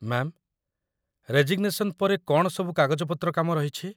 Ma'am, resignation ପରେ କ'ଣ ସବୁ କାଗଜପତ୍ର କାମ ରହିଛି ?